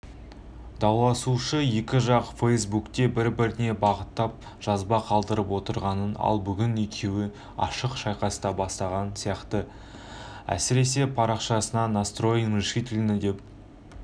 дауласушы екі жақ фейсбукте бір-біріне бағыттап жазба қалдырып отыратын ал бүгін екеуі ашық айқасты бастаған сияқты әсіресе парақшасына настроен решительно деп